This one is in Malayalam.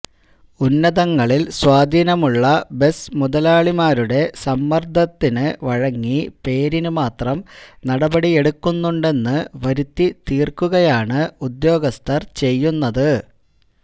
ഉന്നതങ്ങളില് സ്വാധീനമുള്ള ബസ് മുതലാളിമാരുടെ സമ്മര്ദത്തിന് വഴങ്ങി പേരിന് മാത്രം നടപടിയെടുക്കുന്നുണ്ടെന്ന് വരുത്തി തീര്ക്കുകയാണ് ഉദ്യോഗസ്ഥര് ചെയ്യുന്നത്